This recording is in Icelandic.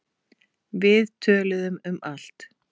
Við töluðum um allt.